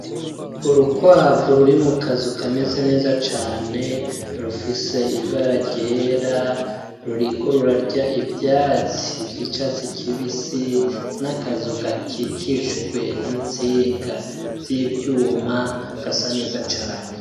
Urukwavu ruri mu kazu kameze neza cane rufise ibara ryera, ruriko rurarya ivyatsi vy'icatsi kibisi n'akazu gakikijwe n'intsinga z'ivyuma gasa neza cane.